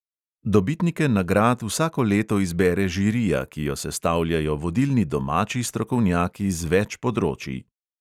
Dobitnike nagrad vsako leto izbere žirija, ki jo sestavljajo vodilni domači strokovnjaki z več področij.